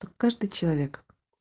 каждый человек